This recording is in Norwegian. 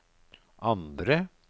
andre